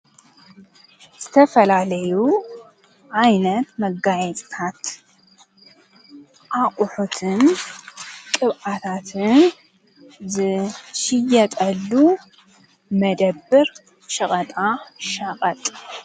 ዝተፈላለዩ ዓይነት መጋየጽታት ኣቝሑትን ቕብኣታትን ዝሽየጠሉ መደብር ሽቐጣ ሻቐጥ።